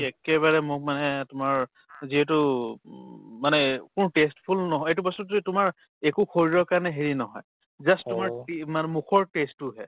একেবাৰে মোক মানে তোমাৰ যিহেতু উব মানে taste full নহয় এইটো বস্তুতোয়ে তোমাৰ একো শৰীৰ কাৰণে হেৰি নহয় just তোমাৰ মানে মুখৰ test তোৰহে